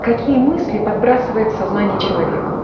какие мысли подбрасывает сознание человеку